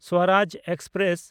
Swaraj express